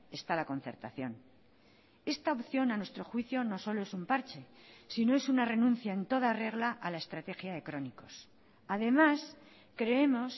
está la concertación esta opción a nuestro juicio no solo es un parche sino es una renuncia en toda regla a la estrategia de crónicos además creemos